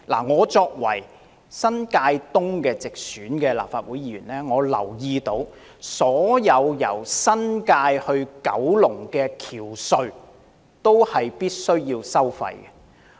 我是新界東的直選立法會議員，我留意到所有連接新界及九龍的橋隧均須收費。